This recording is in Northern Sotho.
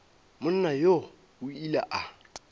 monna yoo o ile a